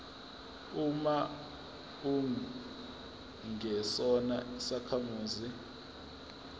uma ungesona isakhamuzi